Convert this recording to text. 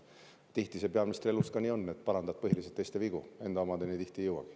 Tihti peaministri elus on nii, et parandad põhiliselt teiste vigu, enda omadeni sageli ei jõuagi.